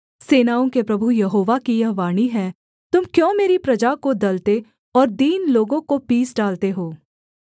सेनाओं के प्रभु यहोवा की यह वाणी है तुम क्यों मेरी प्रजा को दलते और दीन लोगों को पीस डालते हो